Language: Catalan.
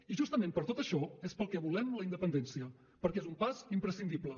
i justament per tot això és pel que volem la independència perquè és un pas imprescindible